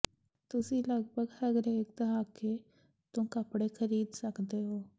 ਤੁਸੀਂ ਲਗਭਗ ਹਰੇਕ ਦਹਾਕੇ ਤੋਂ ਕੱਪੜੇ ਖਰੀਦ ਸਕਦੇ ਹੋ